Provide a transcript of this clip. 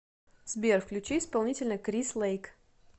сбер включи исполнителя крис лэйк